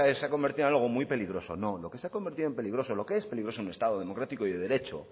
se ha convertido en algo muy peligroso no lo que se ha convertido peligroso lo que es peligroso en un estado democrático y de derecho